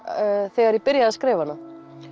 þegar ég byrjaði að skrifa hana